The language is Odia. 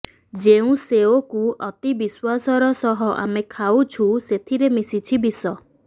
ଯେଉଁ ସେଓକୁ ଅତି ବିଶ୍ୱାସର ସହ ଆମେ ଖାଉଛୁ ସେଥିରେ ମିଶିଛି ବିଷ